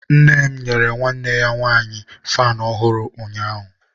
nne m nyere nwanne ya nwanyi faanụ ọ̀hụ̀rụ̀ ụnyaahụ.